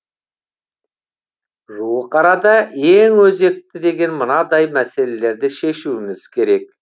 жуық арада ең өзекті деген мынадай мәселелерді шешуіміз керек